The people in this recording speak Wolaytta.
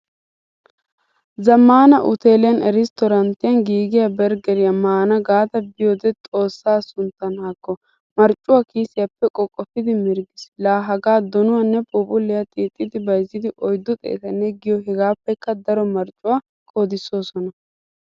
Zamaana utteliyan, restoranttiyan giigiyaa berggeriyaa maana gaada biyode Xoossaa sunttan haakko, marccuwaa kiisiyappe qoqofidi mirggiis. La haaga donuwaanne phuuphuliyaa xiixidi bayzzidi oyddu xeettanne giyo hegappekka daro marccuwaa qoodissosona.